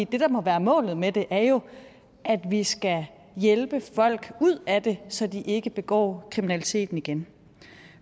det der må være målet med det er jo at vi skal hjælpe folk ud af det så de ikke begår kriminaliteten igen